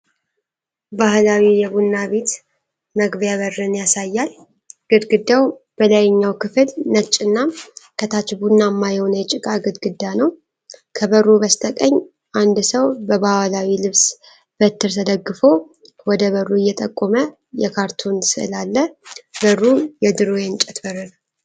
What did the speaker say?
ባህላዊ የቡና ቤት መግቢያ በርን ያሳያል። ግድግዳው በላይኛው ክፍል ነጭና ከታች ቡናማ የሆነ የጭቃ ግድግዳ ነው። ከበሩ በስተቀኝ አንድ ሰው በባህላዊ ልብስ በትር ተደግፎ ወደ በሩ እየጠቆመ የካርቱን ሥዕል አለ። በሩ የድሮ የእንጨት በር ነው።